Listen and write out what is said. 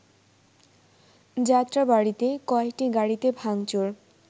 যাত্রাবাড়ীতে কয়েকটি গাড়িতে ভাংচুর